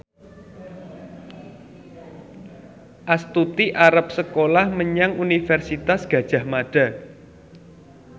Astuti arep sekolah menyang Universitas Gadjah Mada